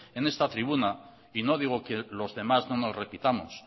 en esta tribuna y no digo que los demás no nos repitamos